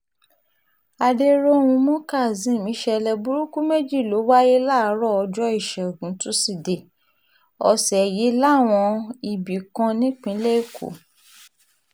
adẹróhunmú kazeem ìṣẹ̀lẹ̀ burúkú méjì ló wáyé láàárọ̀ ọjọ́ ìṣẹ́gun tusidee ọ̀sẹ̀ yìí láwọn ibì kan nípìnlẹ̀ èkó